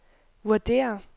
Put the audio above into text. vurderer